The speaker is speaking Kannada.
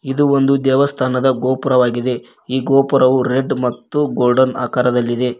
ಇದು ಒಂದು ದೇವಸ್ಥಾನದ ಗೋಪುರವಾಗಿದೆ ಈ ಗೋಪುರವು ರೆಡ್ ಮತ್ತು ಗೋಲ್ಡನ್ ಆಕಾರದಲ್ಲಿದೆ.